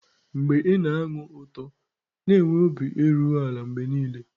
mgbe ị na-anụ ụtọ, na-enwe obi erughị ala mgbe niile.